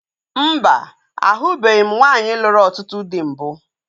Mba, ahụbeghi m nwaanyị lụrụ ọtụtụ dị mbụ